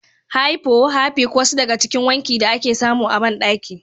Hypo, harpic wasu daga cikin wanki da ake samu a bandaki.